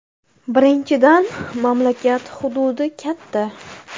Birinchidan, mamlakat hududi katta.